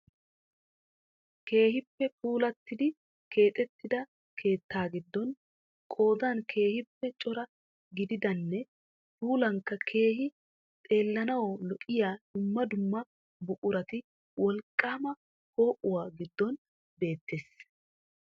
Keehippe puulattidi keexettida keettaa giddon qoodan keekippe cora gididanne puulankka keehi xeellanawu lo'iya dumma dumma buqurati wolqqaama po'oowa giddon beettees.